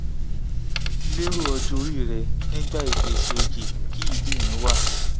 lero ojo ori re nigba ipese oye ki idi mi wa